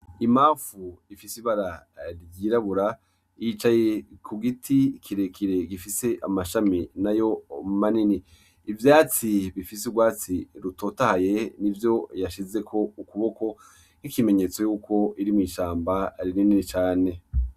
Imamfu ifis'ibara ryirabura yicaye ku giti kirekire gifise amashami nayo manini . Ivyatsi bifise urwatsi rutotahaye nivyo yashizeko ukuboko ,nk'ikimenyetso yuko iri mw'ishamba rinini cane.